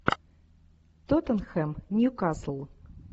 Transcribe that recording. тоттенхэм ньюкасл